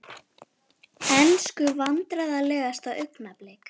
Ensku Vandræðalegasta augnablik?